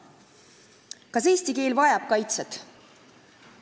Kas eesti keel vajab kaitset?